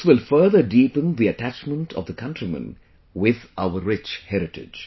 This will further deepen the attachment of the countrymen with our rich heritage